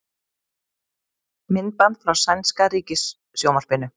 Myndband frá sænska ríkissjónvarpinu